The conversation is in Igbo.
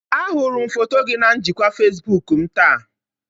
Ahụrụ m foto gị na njikwa Facebook m taa